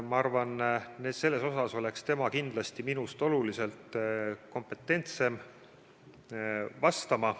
Ma arvan, et selles asjas oleks tema minust kindlasti oluliselt kompetentsem vastaja.